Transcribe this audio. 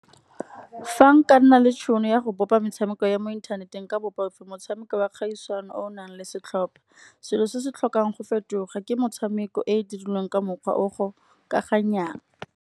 Fa nka nna le tšhono ya go bopa metshameko ya mo inthaneteng, nka bopa motshameko wa kgaisano o nang le setlhopa. Selo se se tlhokang go fetoga ke metshameko e e dirilweng ka mokgwa o gokaganyang.